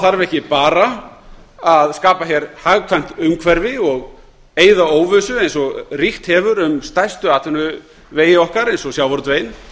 þarf ekki bara að skapa hér hagkvæmt umhverfi og eyða óvissu eins og ríkt hefur um stærstu atvinnuvegi okkar eins og sjávarútveginn